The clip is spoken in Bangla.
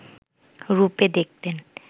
রূপে দেখতেন